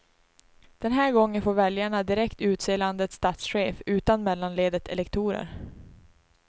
Den här gången får väljarna direkt utse landets statschef, utan mellanledet elektorer.